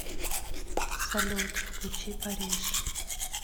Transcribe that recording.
салют включи париж